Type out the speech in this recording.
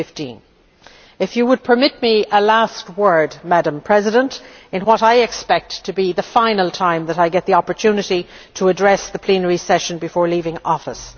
2015. If you would permit a last word, Madam President, in what I expect to be the final time that I get the opportunity to address the plenary session before leaving office.,